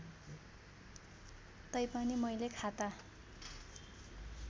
तैपनि मैले खाता